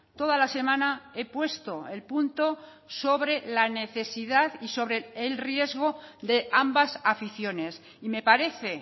toda la semana he puesto el punto sobre la necesidad y sobre el riesgo de ambas aficiones y me parece